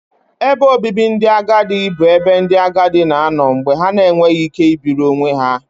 Ebe obibi ndị agadi bụ ebe ndị agadi na-anọ mgbe ha na-enweghị ike ibiri onwe ha